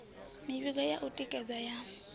mivhigo ya u tikedza ya